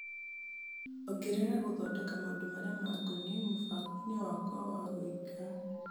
Ongerera gũthodeka maũndũ marĩa ma ngoniĩ mũbango-inĩ wakwa wa gwĩka .